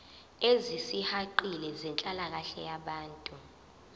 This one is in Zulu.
ezisihaqile zenhlalakahle yabantu